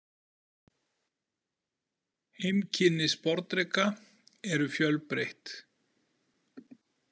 Heimkynni sporðdreka eru fjölbreytt.